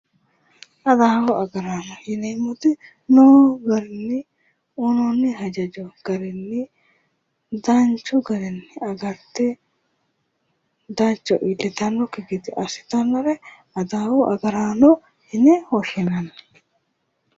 Adawu agaraano yineemmoti noo garinni uyinoonni hajajo garinni danchu garinni agarte gawajjo iillitannokki gede assitannore adawu agaraano yine woshinanni